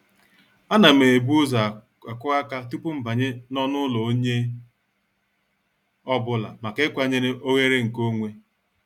A nam ebu ụzọ akụ aka tupu mbanye n'ọnụ ụlọ onye ọ bụla maka ịkwanyere oghere nke onwe.